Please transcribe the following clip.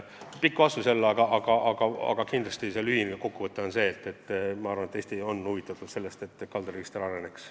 Sai jälle pikk vastus, aga kokku võttes tahan öelda, et Eesti on huvitatud sellest, et kaldaregister areneks.